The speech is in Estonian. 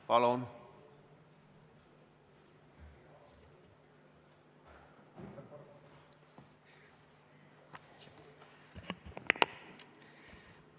Palun!